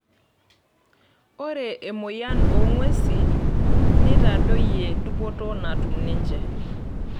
Ore emoyian oo ng'wesi neitadayio dupoto natuma teninche.